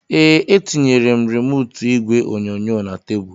Ee, etinyere m remootu igwe onyonyo na tebụlu